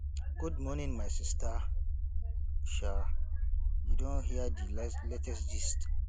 good morning my sista um you don hear di latest gist